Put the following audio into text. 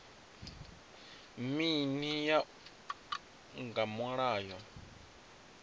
mini u ya nga mulayo